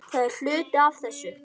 Það er hluti af þessu.